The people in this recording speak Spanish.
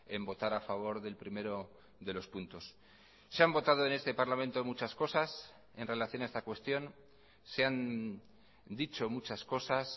en votar a favor del primero de los puntos se han votado en este parlamento muchas cosas en relación a esta cuestión se han dicho muchas cosas